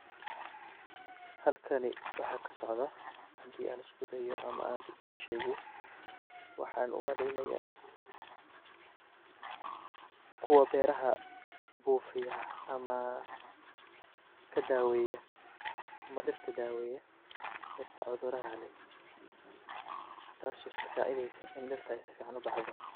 Halkani waxa kasocda hadi an iskudayo ama an shego, waxan umaleya, kuwa beraha bufiya, ama kadaweya ama diirta daweya, diirta cuduraha leh, taas oo lasacideysa ini diirta ay sufican ubahdo.